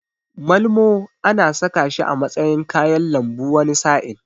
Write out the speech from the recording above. Malmo ana saka shi a matsayin kayan lambu wani sa'in.